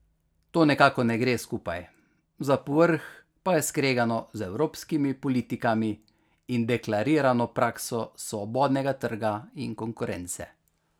To nekako ne gre skupaj, za povrh pa je skregano z evropskimi politikami in deklarirano prakso svobodnega trga in konkurence.